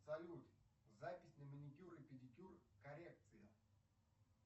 салют запись на маникюр и педикюр коррекция